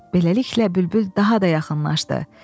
Beləliklə bülbül daha da yaxınlaşdı.